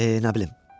E, nə bilim.